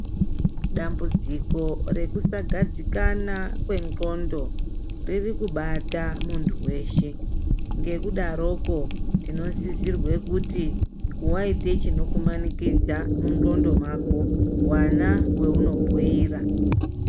Dambudziko rekusagadzikana kwendxondo ririkubata muntu weshe. Ngekudaroko tinosizirwe kuti waite chinokumanikidza mundxondo mako wana weunobhuira.